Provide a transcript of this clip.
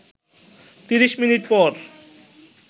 ৩০ minute পর